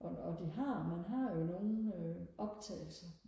og og de har man har jo nogle øh optagelse